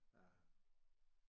Ja